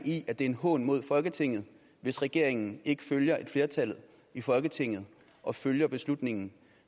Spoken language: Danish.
i at det er en hån mod folketinget hvis regeringen ikke følger et flertal i folketinget og følger en beslutning